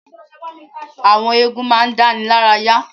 Àwọn eégún ma ń dáni lára yá.